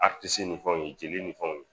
Aritisi nin fɛnw jeli nin fɛnw